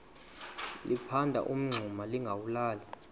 liphanda umngxuma lingawulali